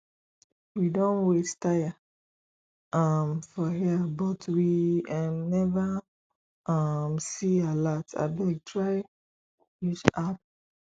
we don wait tire um for here but we um never um see alert abeg try use app